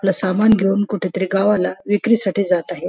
आपलं सामान घेऊन कुठंतरी गावाला विक्रीसाठी जात आहेत.